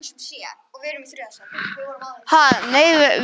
Steinunn, spilaðu tónlist.